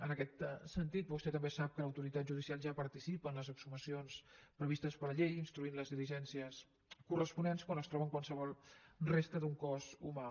en aquest sentit vostè també sap que l’autoritat judicial ja participa en les exhumacions previstes per la llei instruint les diligències corresponents quan es troba qualsevol resta d’un cos humà